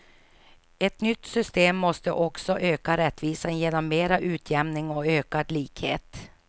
Ett nytt system måste också öka rättvisan genom mera utjämning och ökad likhet.